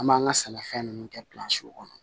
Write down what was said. An b'an ka sɛnɛfɛn ninnu kɛ kɔnɔ